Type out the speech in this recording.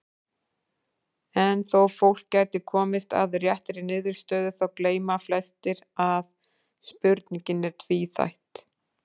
En þó fólk gæti komist að réttri niðurstöðu þá gleyma flestir að spurningin er tvíþætt.